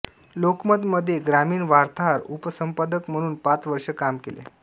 लोकमतमध्ये ग्रामीण वार्ताहर उपसंपादक म्हणून पाच वर्षे काम केले